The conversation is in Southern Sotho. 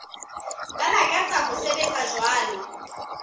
ba lakatsang ho sebetsa jwalo